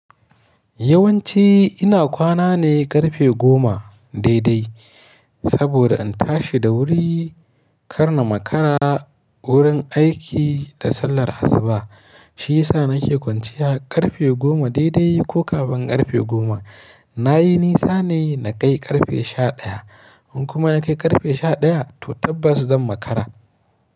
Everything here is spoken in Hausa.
Yawanci ina kwana ne ƙarfe goma daidai, saboda in tashi da wuri, ƙarna makara, wurin aiki da sallar asuba. Shi ya sa nake kwanciya ƙarfe goma daidai ko kafin ƙarfe goma. Na yi nisa ne na kai ƙarfe sha ɗaya. In kuma na kai ƙarfe sha ɗaya, to tabbas zan makara.